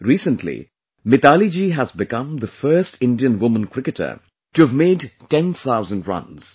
Recently MitaaliRaaj ji has become the first Indian woman cricketer to have made ten thousand runs